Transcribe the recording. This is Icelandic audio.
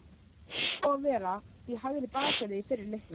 Hver á að vera í hægri bakverði í fyrri leiknum?